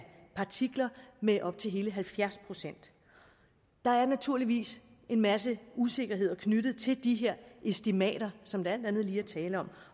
partikler med op til hele halvfjerds procent der er naturligvis en masse usikkerheder knyttet til de her estimater som der alt andet lige er tale om